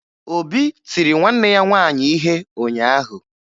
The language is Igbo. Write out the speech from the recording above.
Obi tiri nwanne ya nwaanyị ihe ụnyaahụ.